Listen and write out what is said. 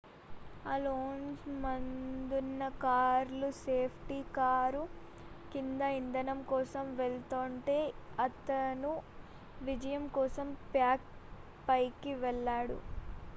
Alonso ముందున్న కార్లు safety car కింద ఇంధనం కోసం వెళ్తోంటే అతను విజయం కోసం ప్యాక్ పైకి వెళ్లాడు